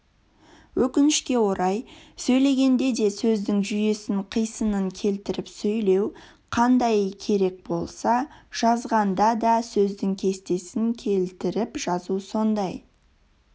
өкінішке орай сөйлегенде сөздің жүйесін қисынын келтіріп сөйлеу қандай керек болса жазғанда да сөздің кестесін келтіріп жазу сондай